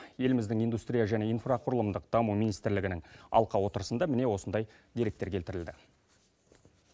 еліміздің индустрия және инфрақұрылымдық даму министрлігінің алқа отырысында міне осындай деректер келтірілді